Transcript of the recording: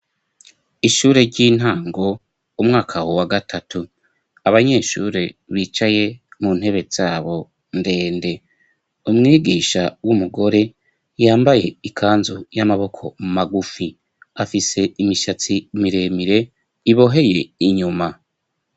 ishure ry'intango umwaka wa gatatu abanyeshure bicaye mu ntebe zabo ndende umwigisha w'umugore yambaye ikanzu y'amaboko magufi afise imishatsi miremire iboheye inyuma